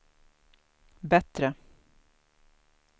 bättre